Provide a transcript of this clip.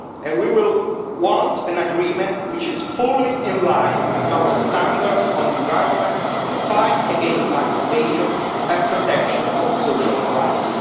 We will want an agreement which is fully in line with our standards on the environment, the fight against tax evasion and the protection of social rights.